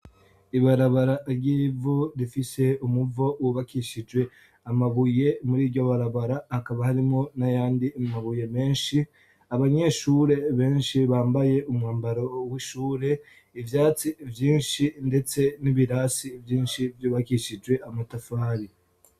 Ibarabara ry'ivu rifise umuvo wubakishije amabuye, muri ryo barabara hakaba harimwo n'ayandi mabuye menshi, abanyeshure benshi bambaye umwambaro w'ishure, ivyatsi vyinshi, ndetse n'ibirasi vyinshi vyubakishije amatafari.